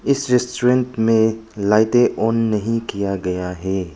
इस रेस्टोरेंट में लाइटें ऑन नहीं किया गया है।